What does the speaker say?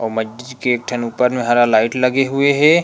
अउ मस्जिद के ऊपर में हरा लाइट लगे हुए हे।